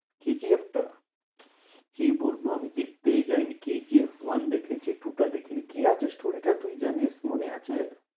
কে জি এফ টা? কি বলবো আমি দেখতেই যাইনি কে জি এফ one দেখেছি two টা দেখিনি। কি আছে story টা তুই জানিস্? মনে আছে?